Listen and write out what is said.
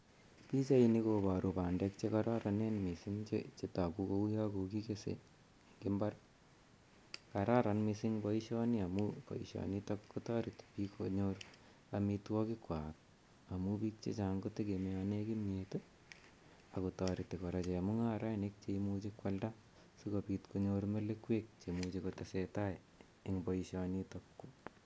Pichaini koparu pandek che kararanen missing' che tagu kole kokikese eng' imbar. Kararqn missing' poishoni amu poishonitok ko tareti piil konyor amitwogikwak amu pichuton kotegemeane kimyet ako tareti kora chemung'arainik che imuchi koalda si kopit konyor melekwek che imuchi kotese tai en poishonitok.